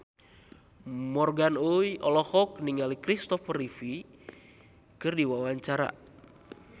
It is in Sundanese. Morgan Oey olohok ningali Christopher Reeve keur diwawancara